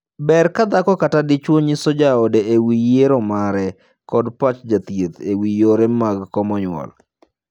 Ber ka dhako kata dichwo nyiso jaode e wii yiero mare kod pach jathieth e wii yore mag komo nyuol.